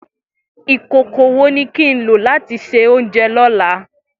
Ikókó wó ni kin ló làtí sé óunjè lolá